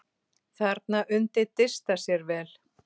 Þarna undi Dysta sér vel.